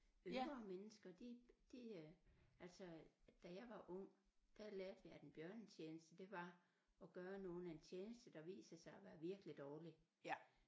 Ældre mennesker de de øh altså da jeg var ung der lærte vi at en bjørnetjeneste det var at gøre nogen en tjeneste der viser sig at være virkelig dårlig